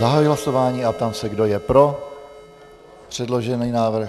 Zahajuji hlasování a ptám se, kdo je pro předložený návrh.